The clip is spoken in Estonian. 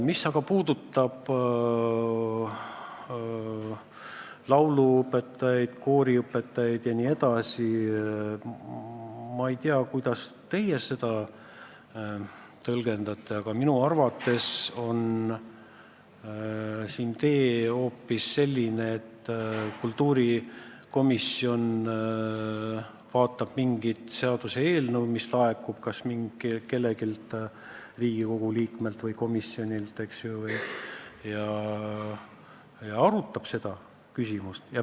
Mis aga puudutab lauluõpetajaid, koorijuhte ja teisi, siis ma ei tea, kuidas teie seda tõlgendate, aga minu arvates on õigem tee hoopis selline, et kultuurikomisjon arutab mingit seaduseelnõu, mis laekub kas kelleltki Riigikogu liikmelt või komisjonilt, ja arutab seda küsimust.